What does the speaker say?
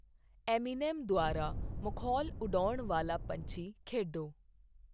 Eminem ਦੁਆਰਾ ਮਖੌਲ ਉਡਾਉਣ ਵਾਲਾ ਪੰਛੀ ਖੇਡੋ